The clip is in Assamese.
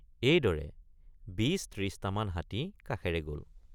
এইদৰে ২৫।৩০টামান হাতী কাষেৰে গল।